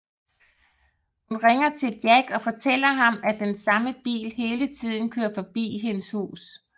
Hun ringer til Jack og fortæller ham at den samme bil hele tiden kører forbi hendes hus